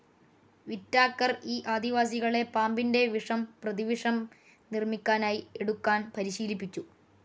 Whittaker ഈ ആദിവാസികളെ പാമ്പിൻ്റെ വിഷം പ്രതിവിഷം നിർമിക്കാനായി എടുക്കാൻ പരിശീലിപ്പിച്ചു.